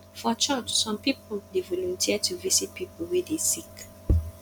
for church some pipu dey volunteer to visit pipu wey dey sick